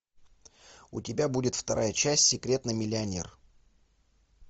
у тебя будет вторая часть секретный миллионер